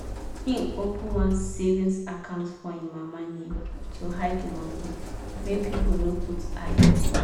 he open one savings account for him mama name to hide the money make people no put eye.